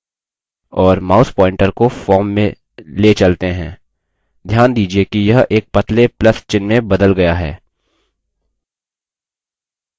और mouse pointer को form में let चलते हैं; ध्यान दीजिये कि यह एक पतले plus चिह्न में बदल गया है